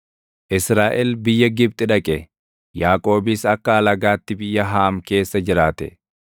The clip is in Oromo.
Israaʼel biyya Gibxi dhaqe; Yaaqoobis akka alagaatti biyya Haam keessa jiraate.